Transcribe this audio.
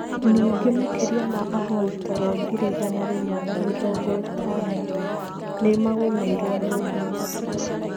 Ningĩ makĩria ma ahoi toro ngiri igana rĩmwe na mĩrongo ĩtano nĩ magũmĩirũo nĩ ũndũ ũcio.